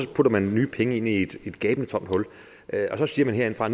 putter man nye penge ind i et gabende tomt hul og så siger man herindefra